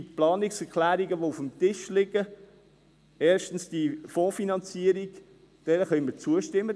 Zu den Planungserklärungen, die auf dem Tisch liegen: erstens die Fondsfinanzierung: Dieser können wir zustimmen.